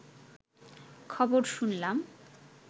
খবর শুনলাম